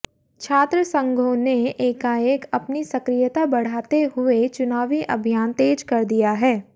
छात्र संघों ने एकाएक अपनी सक्रियता बढ़ाते हुए चुनावी अभियान तेज कर दिया है